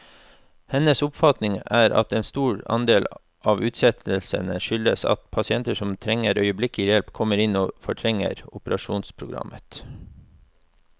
Hennes oppfatning er at en stor andel av utsettelsene skyldes at pasienter som trenger øyeblikkelig hjelp, kommer inn og fortrenger operasjonsprogrammet.